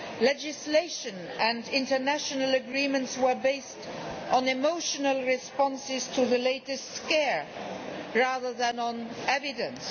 Legislation and international agreements were based on emotional responses to the latest scare rather than on evidence.